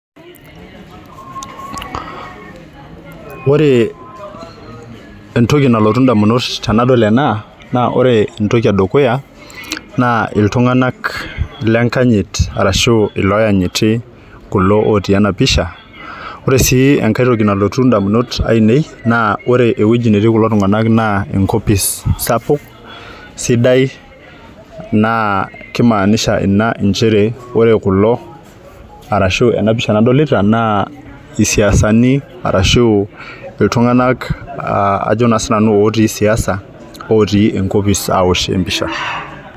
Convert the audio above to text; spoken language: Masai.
Ore entoki nalotu ndamunot tanadol ena na ore Entoki edukuya na ltunganak lenkanyit oashu loanyiti kulo otii enapisha ore si enkae toki nalotu ndamunot ainei na ewueji natii kulo tunganak na enkopis sapuk sidai naa kimaanisha ina mchere ajo ore kulo arashu enapisha nadolta na siasani arashu ltunganak aa najo na sinanu otii siaisa otii enkopis aaosh empisha.